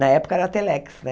Na época era telex, né?